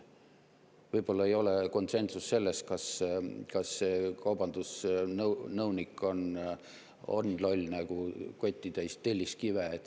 Võib-olla ei ole konsensus selles, kas see kaubandusnõunik on loll nagu kotitäis telliskive.